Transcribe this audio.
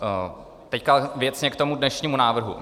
Teď věcně k tomu dnešnímu návrhu.